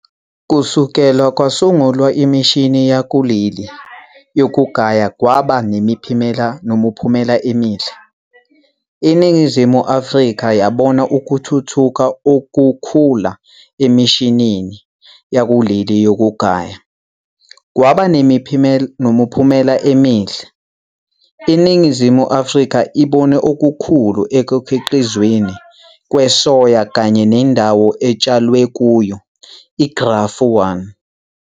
Kusukela kwasungulwa imishini yakuleli yokugaya, kwaba nemiphumela emihle, iNingizimu Afrika yabona ukuthuthuka okukhula emishinini yakuleli yokugaya, kwaba nemiphumela emihle, iNingizimu Afrika ibone okukhulu ekukhiqizweni kwesoya kanye nendawo etshalwe kuyo, iGrafu 1.